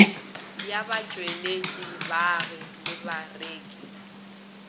ya batšweletši baagi le bareki